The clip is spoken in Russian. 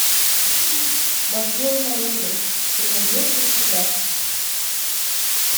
махнем на луну ты найдешь у себя